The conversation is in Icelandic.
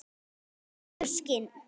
Holdinu skinn.